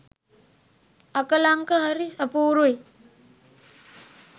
අකලංක හරි අපූරුයි